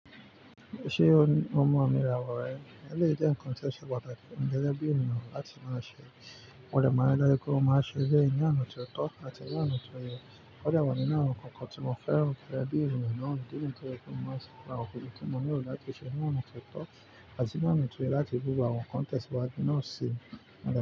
Ṣé o mọ àmì ìràwò rẹ? Eléyìí jẹ nǹkan tí ó ṣe pàtàkì gẹgẹbi bí ènìyàn láti máa ṣe. Mo dẹ̀ máa n ri dájú pé mo máa ṣe eléyìí ní onà tó tọ́ àti ni ọna tó yẹ. Ó dà wa nínú àwọn nǹkan kan tí mo feran gege bí eniyan náà. Idi níyen to je pé mo máa ṣe gbogbo awon nnkan ti mo ni ilo láti ṣe nì onà tó tọ́ àti nì onà to yẹ láti fi bubu awon kan tesiwaje náà sì.